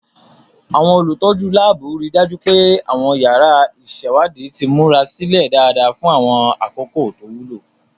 Àwọn olùtọ́jú láàbù rí i dájú pé àwọn yàrá ìṣèwádìí ti múra sílẹ̀ dáadáa fún àwọn àkókò tó wúlò.